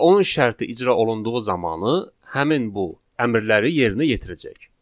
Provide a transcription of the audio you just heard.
Və onun şərti icra olunduğu zamanı həmin bu əmrləri yerinə yetirəcək.